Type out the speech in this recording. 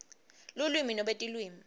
lulwimi nobe tilwimi